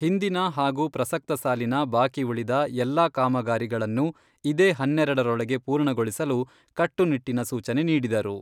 ಹಿಂದಿನ ಹಾಗೂ ಪ್ರಸಕ್ತ ಸಾಲಿನ ಬಾಕಿ ಉಳಿದ ಎಲ್ಲಾ ಕಾಮಗಾರಿಗಳನ್ನು ಇದೇ ಹನ್ನೆರೆಡರೊಳಗೆ ಪೂರ್ಣಗೊಳಿಸಲು ಕಟ್ಟುನಿಟ್ಟಿನ ಸೂಚನೆ ನೀಡಿದರು.